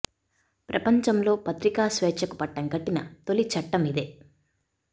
ప్రపంచంలో పత్రికా స్వేఛ్చ కు పట్టం కట్టిన తొలి చట్టం ఇదే